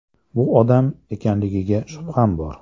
Bu odam ekanligiga shubham bor.